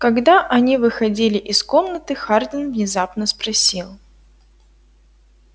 когда они выходили из комнаты хардин внезапно спросил